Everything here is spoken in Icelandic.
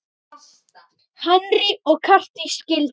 Henry og Katrín skildu.